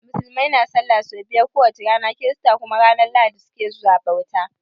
Musulmai na sallah so biyar ko wace rana, kirista kuma ranan lahadi su ke zuwa bauta.